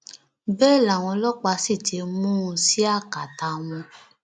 bẹẹ làwọn ọlọpàá sì ti mú un sí akátá wọn